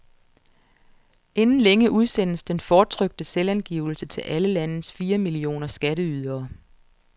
Inden længe udsendes den fortrykte selvangivelse til alle landets fire millioner skatteydere.